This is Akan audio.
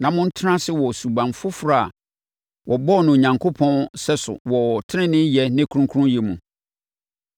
na montena ase wɔ suban foforɔ a wɔbɔɔ no Onyankopɔn sɛso wɔ teneneeyɛ ne kronkronyɛ mu.